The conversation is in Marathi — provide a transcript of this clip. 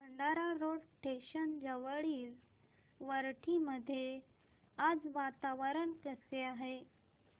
भंडारा रोड स्टेशन जवळील वरठी मध्ये आज वातावरण कसे आहे